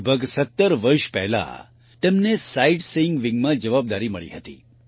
લગભગ 17 વર્ષ પહેલા તેમને સાઈટસીઈંગ વિંગમાં જવાબદારી મળી હતી